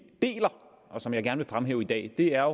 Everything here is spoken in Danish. deler og som jeg gerne vil fremhæve i dag er